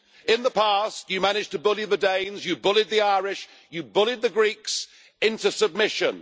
In the past, you managed to bully the Danes, you bullied the Irish, you bullied the Greeks into submission.